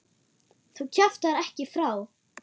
Þú kjaftar ekki frá!